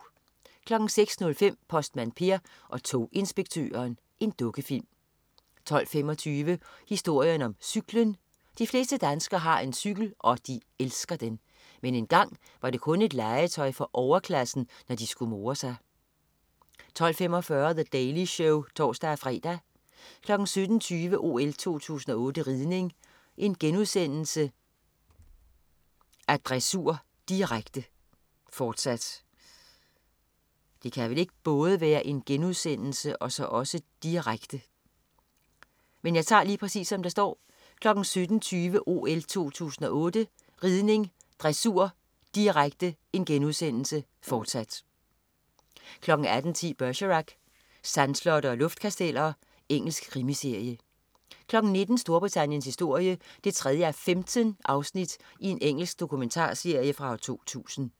06.05 Postmand Per og toginspektøren. Dukkefilm 12.25 Historien om cyklen. De fleste danskere har en cykel, og de elsker den. Men engang var det kun et legetøj for overklassen, når de skulle more sig 12.45 The Daily Show (tors-fre) 17.20 OL 2008 ridning: Dressur, direkte* (fortsat) 18.10 Bergerac: Sandslotte og luftkasteller. Engelsk krimiserie 19.00 Storbritanniens historie 3:15. Engelsk dokumentarserie fra 2000